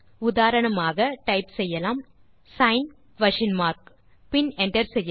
உதாரணமாக டைப் செய்யலாம் sign question mark பின் என்டர் செய்க